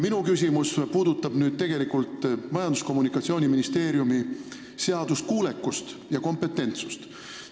Minu küsimus puudutab Majandus- ja Kommunikatsiooniministeeriumi seaduskuulekust ja kompetentsust.